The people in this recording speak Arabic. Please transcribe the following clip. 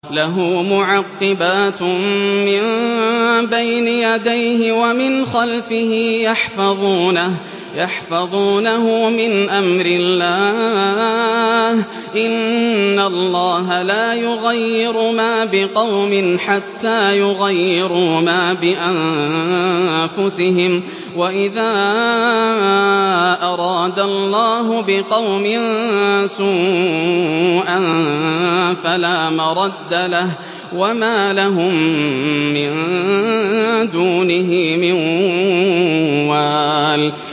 لَهُ مُعَقِّبَاتٌ مِّن بَيْنِ يَدَيْهِ وَمِنْ خَلْفِهِ يَحْفَظُونَهُ مِنْ أَمْرِ اللَّهِ ۗ إِنَّ اللَّهَ لَا يُغَيِّرُ مَا بِقَوْمٍ حَتَّىٰ يُغَيِّرُوا مَا بِأَنفُسِهِمْ ۗ وَإِذَا أَرَادَ اللَّهُ بِقَوْمٍ سُوءًا فَلَا مَرَدَّ لَهُ ۚ وَمَا لَهُم مِّن دُونِهِ مِن وَالٍ